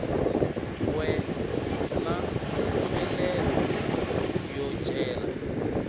we na mpfumelelo yo cela